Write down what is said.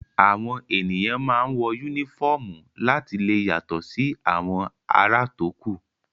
Àwọn èèyàn máa ń wọ yúnífọ̀mù láti lè yàtọ̀ sí àwọn ará tókù